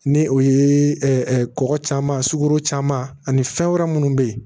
Ni o ye kɔgɔ caman sugoro caman ani fɛn wɛrɛ munnu be ye